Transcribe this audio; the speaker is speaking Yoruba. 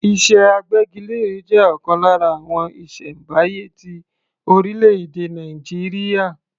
Iṣẹ́ agbẹ́gilére jẹ́ ọ̀kan lára àwọn iṣẹ́ ìṣẹ̀m̀báyé ti orílẹ̀-èdè Nàìjíríà.